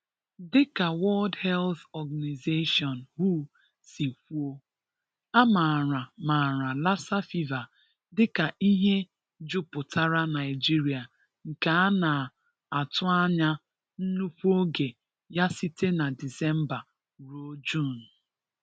Dịka World Health Organisation (WHO) si kwuo, a maara maara 'lassa fever' dịka ihe jupụtara Naịjirịa nke a na-atụ anya nnukwu oge ya site na Disemba ruo Juun.